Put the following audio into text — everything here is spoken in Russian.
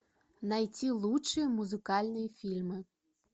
найти лучшие музыкальные фильмы